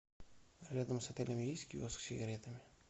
рядом с отелем есть киоск с сигаретами